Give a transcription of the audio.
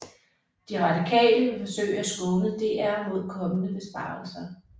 De Radikale vil forsøge at skåne DR mod kommende besparelser